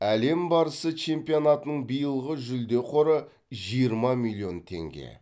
әлем барысы чемпионатының биылғы жүлде қоры жиырма миллион теңге